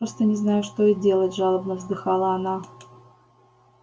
просто не знаю что и делать жалобно вздыхала она